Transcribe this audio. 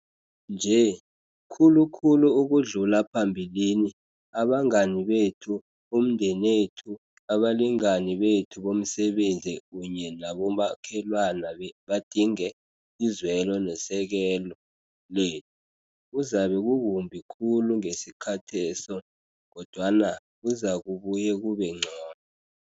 Nje, khulu khulu ukudlula phambilini, abangani bethu, umndenethu, abalingani bethu bomsebenzi kunye nabomakhelwana badinge izwelo nesekelo lethu. Kuzabe kukumbi khulu ngesikhatheso, kodwana kuzakubuye kube ngcono.